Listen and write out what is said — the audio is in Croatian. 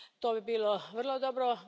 To bi bilo vrlo dobro.